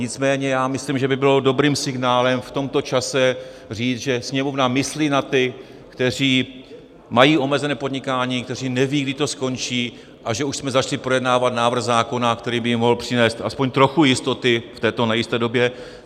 Nicméně já myslím, že by bylo dobrým signálem v tomto čase říct, že Sněmovna myslí na ty, kteří mají omezené podnikání, kteří nevědí, kdy to skončí, a že už jsme začali projednávat návrh zákona, který by jim mohl přinést aspoň trochu jistoty v této nejisté době.